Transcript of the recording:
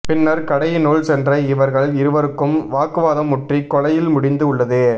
பின்னர் கடையினுள் சென்ற இவர்கள் இருவருக்கும் வாக்குவாதம் முற்றி கொலையில் முடிந்து உள்ளது